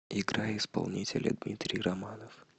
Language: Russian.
играй исполнителя дмитрий романов